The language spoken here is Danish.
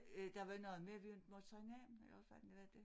Øh der var noget med vi inte på sige navne eller også var det hvad det